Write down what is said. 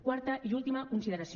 quarta i última consideració